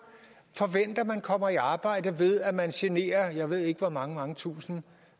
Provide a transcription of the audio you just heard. forventer man kommer i arbejde ved at man generer jeg ved ikke hvor mange mange tusinde